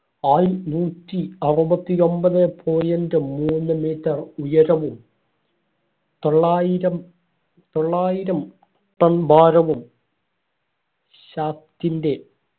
ആയ് നൂറ്റി അറുപത്തി ഒമ്പതേ point മൂന്ന് metre ഉയരവും തൊള്ളായിരം തൊള്ളായിരം ton ഭാരവും ശാസ്ത്തിന്റെ